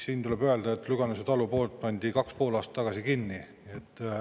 Siin tuleb öelda, et Lüganuse talupood pandi 2,5 aastat tagasi kinni.